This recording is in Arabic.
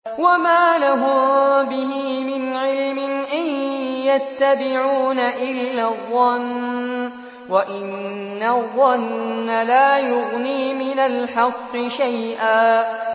وَمَا لَهُم بِهِ مِنْ عِلْمٍ ۖ إِن يَتَّبِعُونَ إِلَّا الظَّنَّ ۖ وَإِنَّ الظَّنَّ لَا يُغْنِي مِنَ الْحَقِّ شَيْئًا